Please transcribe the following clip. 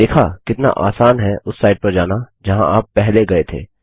देखा कितना आसान है उस साईट पर जाना जहाँ आप पहले गए थे